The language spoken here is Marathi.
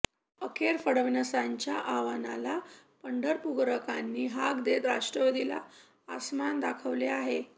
अखेर फडणवीसांच्या आवाहनाला पंढरपूरकारांनी हाक देत राष्ट्रवादीला आस्मान दाखवले आहे